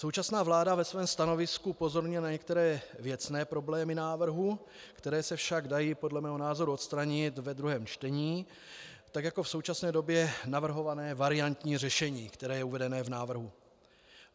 Současná vláda ve svém stanovisku upozorňuje na některé věcné problémy návrhu, které se však dají podle mého názoru odstranit ve druhém čtení, tak jako v současné době navrhované variantní řešení, které je uvedeno v návrhu.